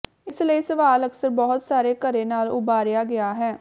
ਇਸ ਲਈ ਸਵਾਲ ਅਕਸਰ ਬਹੁਤ ਸਾਰੇ ਘਰੇ ਨਾਲ ਉਭਾਰਿਆ ਗਿਆ ਹੈ